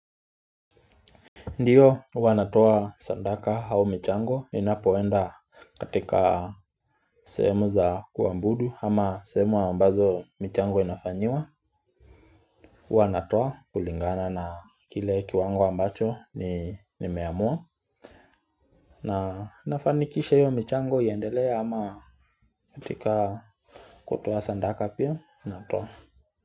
Ndiyo, huwa natoa sadaka au michango ninapoenda katika sehemu za kuabudu ama sehemu ambazo michango inafanyiwa. Huwa natoa kulingana na kile kiwango ambacho nimeamua. Na nafanikisha hiyo michango iendelee ama katika kutoa sadaka pia natoa.